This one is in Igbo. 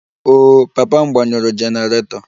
Oh, papa m gbanyụrụ generator